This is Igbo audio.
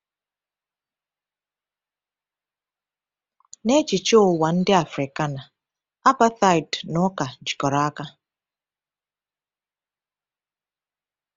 N’echiche ụwa ndị Afrikaner, apartheid na ụka jikọrọ aka.